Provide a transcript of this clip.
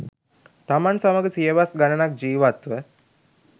තමන් සමඟ සියවස් ගණනක් ජීවත් ව